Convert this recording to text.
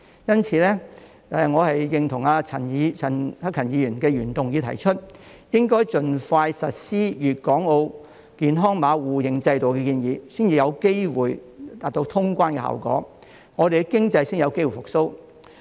因此，我認同陳克勤議員的原議案提出，應該盡快實施粵港澳健康碼互認制度的建議，這才有機會達到通關效果，香港的經濟才有機會復蘇。